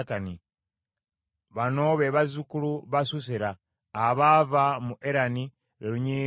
Bano be bazzukulu ba Susera: abaava mu Erani, lwe lunyiriri lw’Abaerani.